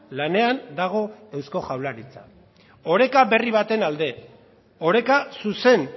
lanean dago eusko jaurlaritza oreka berri baten alde oreka zuzen